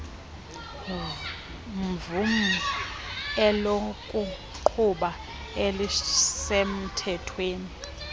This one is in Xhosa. mvum elokuqhuba elisemthethweni